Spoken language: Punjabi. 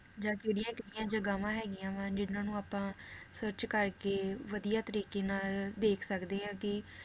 ਜਾਂ ਕਿਹੜੀਆਂ-ਕਿਹੜੀਆਂ ਜਗਾਵਾਂ ਹੈਗੀਆਂ ਵਾ ਜਿਹਨਾਂ ਨੂੰ ਆਪਾਂ search ਕਰਕੇ ਵਧੀਆ ਤਰੀਕੇ ਨਾਲ ਦੇਖ ਸਕਦੇ ਆ, ਕਿ